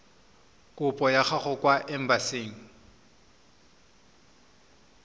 kopo ya gago kwa embasing